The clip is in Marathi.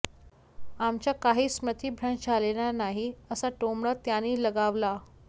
आमचा काही स्मृतीभ्रंश झालेला नाही असा टोमणा त्यांनी लगावला